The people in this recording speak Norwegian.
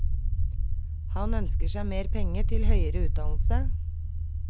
Han ønsker seg mer penger til høyere utdannelse.